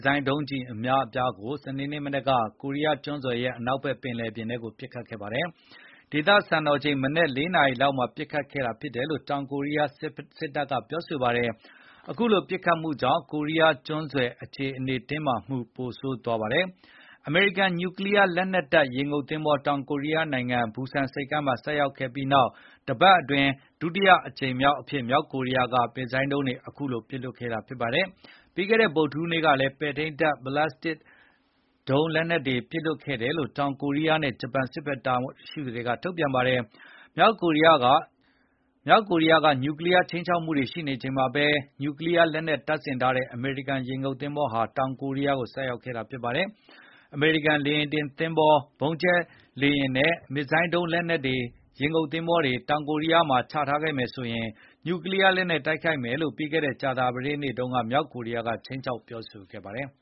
ဇိုင်းဒုန်းကျည်အများအပြားကို စနေနေ့မနက်က ကိုရီးယားကျွန်းဆွယ်ရဲ့ အနောက် ဘက်ပင်လယ်ပြင်ထဲကိုပစ်ခတ်ခဲ့ပါတယ်။ ဒေသစံတော်ချိန် မနက် ၄ နာရီလောက်မှာ ပစ်ခတ်ခဲ့တာဖြစ်တယ်လို့ တောင်ကိုရီးယားစစ်တပ်ကပြောဆိုပါတယ်။ အခုလိုပစ်ခတ်မှုတွေကြောင့်ကိုရီးယားကျွန်းဆွယ်အခြေအနေတင်းမာမှုတွေပိုဆိုးသွားပါတယ်။ အမေရိကန်ညူကလီးယားလက်နှက်တပ်ရေငုတ်သဘောၤ တောင်ကိုရီးယားနိုင်ငံ ဘူဆန်ဆိပ်ကမ်းမှာဆိုက်ရောက်ခဲ့ ပြီးနောက်တပတ်အတွင်း ဒီတကြိမ်ဟာဒုတိယအကြိမ်အဖြစ် မြောက်ကိုရီးယားက မစ်ဇိုင်းဒုံးလက်နှက်တွေ ပစ်လွှတ်ခဲ့ တာဖြစ်ပါတယ်။ ပြီးခဲ့တဲ့ ဗုဒ္ဓဟူးနေ့ကလည်း ပဲ့ထိန်းဘလက်စတစ်ဒုံးလက်နှက်တွေပစ်လွှတ်ခဲ့တယ်လို့ တောင်ကိုရီး ယားနဲ့ ဂျပန်စစ်ဘက်တာဝန်ရှိသူတွေကထုတ်ပြန်ပါတယ်။ မြောက်ကိုရီးယားက ညူကလီးယား ခြိမ်းခြောက်မှုတွေရှိနေချိန်မှာဘဲ ညူကလီးယားလက်နှက်တပ်ဆင်ထားတဲ့ အမေရိကန်ရေငုတ်သင်္ဘောဟာ တောင်ကိုရီးယားကိုဆိုက်ရောက်ခဲ့တာဖြစ်ပါတယ်။ အမေရိကန်လေယဉ်တင်သဘောၤ၊ ဗုံးကြဲလေယဉ်နဲ့ မစ်ဇိုင်းဒုန်းလက်နှက်တပ် ရေငုတ်သင်္ဘောတွေ တောင်ကိုရီးယားမှာ ချထားခဲ့ရင် ညူကလီးယားလက်နှက်နဲ့တိုက်ခိုက်မယ်လို့ ပြီးခဲ့တဲ့ကြာသပတေးနေ့တုန်းက မြောက်ကိုရီးယား ကခြိမ်း ခြောက်ပြောဆိုခဲ့ပါတယ်